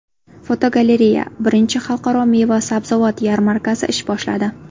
Fotogalereya: Birinchi xalqaro meva-sabzavot yarmarkasi ish boshladi.